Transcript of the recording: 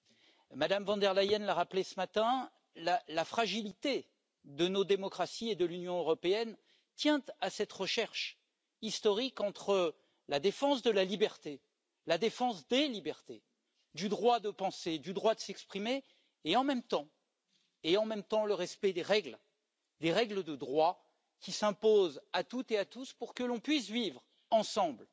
Comme Mme von der Leyen l'a rappelé ce matin, la fragilité de nos démocraties et de l'Union européenne tient à cette recherche historique entre la défense de la liberté, la défense des libertés, du droit de penser et du droit de s'exprimer et, en même temps, le respect des règles de droit qui s'imposent à toutes et à tous pour que nous puissions vivre ensemble